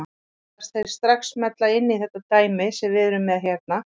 Allavega virðast þeir strax smella inn í þetta dæmi sem við erum með hérna.